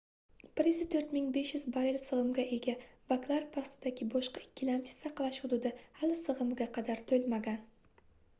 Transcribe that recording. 104 500 barell sigʻimga ega baklar pastidagi boshqa ikkilamchi saqlash hududi hali sigʻimiga qadar toʻlmagan